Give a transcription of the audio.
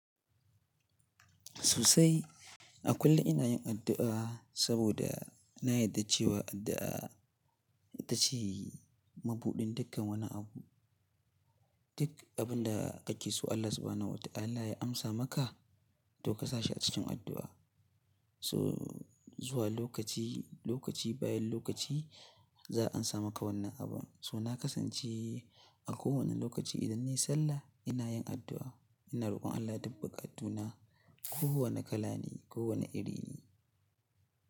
Sosai a kullum ina yin addu'a saboda na yarda cewa addu'a ita ce mabuɗin dukkan wani abu. Duk abin da ake so Allah subhana wata'ala ya amsa maka, toh ka sa shi a cikin addu'a. Toh zuwa lokaci, lokaci bayan lokaci za a amsa maka wannan abun. So na kasance a kowane lokaci idan nayi sallah ina yin addu'a, ina rokon Allah duk buƙatu na kowane kala ne, kowane iri ne.